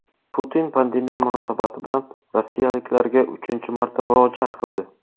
Putin pandemiya munosabati bilan rossiyaliklarga uchinchi marta murojaat qildi.